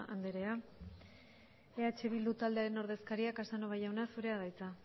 anderea eh bildu taldearen ordezkaria casanova jauna zurea da hitza